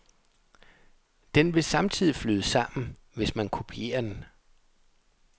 Den vil samtidig flyde sammen, hvis man kopierer den.